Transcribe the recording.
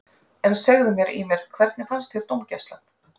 En segðu mér Ýmir, hvernig fannst þér dómgæslan?